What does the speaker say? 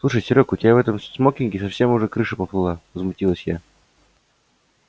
слушай серёг у тебя в этом смокинге совсем уже крыша поплыла возмутилась я